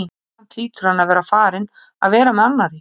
En samt hlýtur hann að vera farinn að vera með annarri.